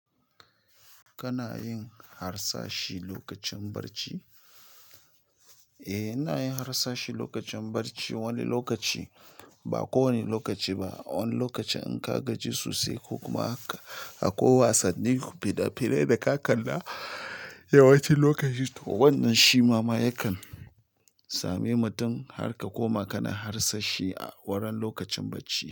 Kana yin harsashi lokacin barci, eh, ina yin harsashi lokacin barci. Wani lokaci, ba kowane lokaci ba. Wani lokaci in ka gaji sosai ko kuma haka, akwai wasannin fina-finai da ka kalla yawanci lokacin to wannan shima ma yakan same mutum har ka koma kana harsashi a wurin lokacin barci.